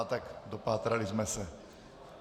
A tak dopátrali jsme se.